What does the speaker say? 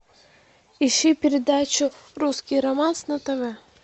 ищи передачу русский романс на тв